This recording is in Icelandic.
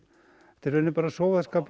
þetta er bara sóðaskapur